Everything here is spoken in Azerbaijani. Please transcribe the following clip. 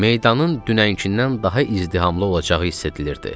Meydanın dünənkindən daha izdihamlı olacağı hiss edilirdi.